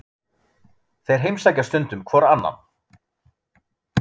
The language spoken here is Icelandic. Þeir heimsækja stundum hvor annan.